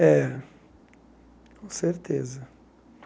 É, com certeza.